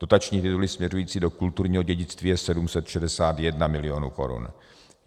Dotační tituly směřující do kulturního dědictví jsou 761 milionů korun.